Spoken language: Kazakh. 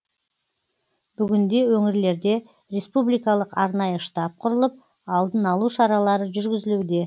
бүгінде өңірлерде республикалық арнайы штаб құрылып алдын алу шаралары жүргізілуде